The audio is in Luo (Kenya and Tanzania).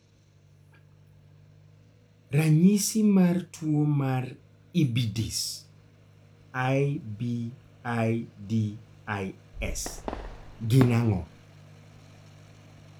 ranyisi mar tuo mar IBIDIS gin ang'o?